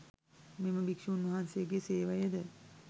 මෙම භික්‍ෂූන් වහන්සේගේ සේවයද